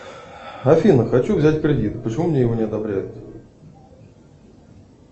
афина хочу взять кредит почему мне его не одобряют